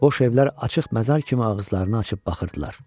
Boş evlər açıq məzar kimi ağızlarını açıb baxırdılar.